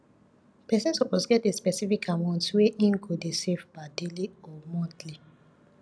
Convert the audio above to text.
persin suppose get a specific amount wey him go de save per daily or monthly